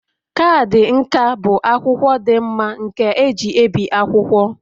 Kaadị nka bụ akwụkwọ dị mma nke eji ebi akwụkwọ